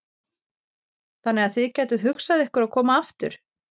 Þannig að þið gætuð hugsað ykkur að koma aftur?